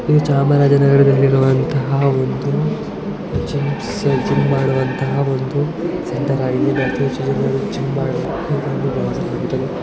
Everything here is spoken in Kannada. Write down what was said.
ಈ ಚಾಮರಾಜನಗರ ದಲ್ಲಿ ಇರುವ ಒಂದು ಜಿಮ್ಮ್ ಜಿಮ್ಮ್ ಸೆಂಟರ್ ಆಗಿದ್ದು ಇಲ್ಲಿ ಜಿಮ್ಮ್ ಮಾಡಲು--